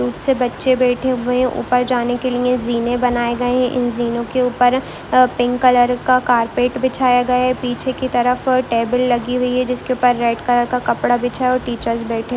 cute से बच्चे बैठे हुए हैं ऊपर जाने के लिए जीने बनाए गए हैं इन जीनों के ऊपर अ पिंक कलर का कार्पेट बिछाया गया है पीछे की तरफ टेबल लगी हुई है जिसके ऊपर रेड कलर का कपड़ा बिछा है और टीचर्स बैठे --